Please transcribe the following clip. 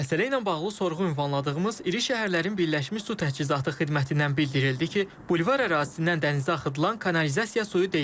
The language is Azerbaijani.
Məsələ ilə bağlı sorğu ünvanladığımız İri şəhərlərin Birləşmiş Su Təchizatı xidmətindən bildirildi ki, bulvar ərazisindən dənizə axıdılan kanalizasiya suyu deyil.